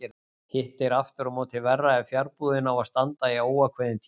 Hitt er aftur á móti verra ef fjarbúðin á að standa í óákveðinn tíma.